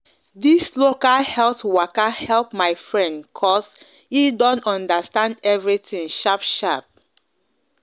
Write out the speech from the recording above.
this local health waka help my friend cos him don understand everything sharp sharp